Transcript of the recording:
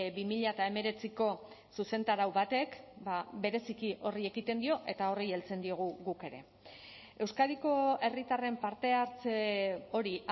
bi mila hemeretziko zuzentarau batek bereziki horri ekiten dio eta horri heltzen diogu guk ere euskadiko herritarren parte hartze hori